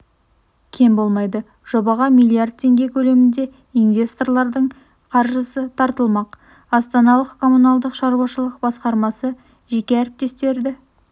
кем болмайды жобаға миллиард теңге көлемінде инвесторлардың қаржысы тартылмақ астаналық коммуналдық шаруашылық басқармасы жеке әріптестерді